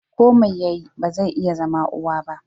Ko mai yayi, ba zai iya zama uwa ba.